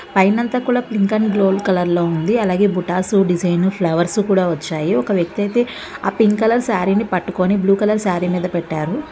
పైన అంతా కూడా పింక్ అండ్ గోల్డ్ కలర్ లో ఉంది.అలాగే బుటాస్ డిజైన్ ఫ్లవర్స్ కూడా వచ్చాయి. ఒక వ్యక్తి అయితే ఆ పింక్ కలర్ సారీ ని పట్టుకొని బ్లూ కలర్ సారీ మీద పెట్టారు..